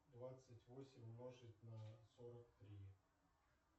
двадцать восемь умножить на сорок три